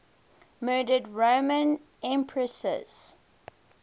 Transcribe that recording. murdered roman empresses